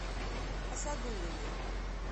асадуллиной